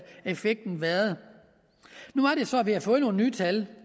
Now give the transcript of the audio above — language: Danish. været nu er det så at vi har fået nogle nye tal